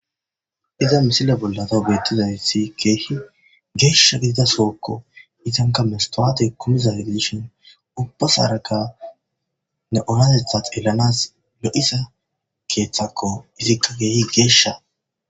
Iza misila bollata beettizawithi keehi geesha gidida sookko izanka mestowate kumiza gidishin ubbas haraka ne onatetha xeelanas le'isa keethakko izikka keehi geeshsha